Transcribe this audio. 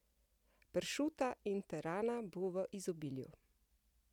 Pršuta in terana bo v izobilju!